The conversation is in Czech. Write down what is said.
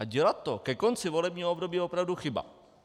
A dělat to ke konci volebního období je opravdu chyba.